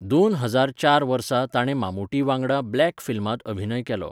दोन हजार चार वर्सा ताणें मामूटी वांगडा ब्लॅक फिल्मांत अभिनय केलो.